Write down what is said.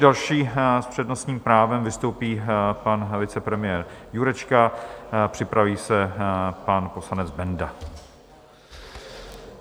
Další s přednostním právem vystoupí pan vicepremiér Jurečka, připraví se pan poslanec Benda.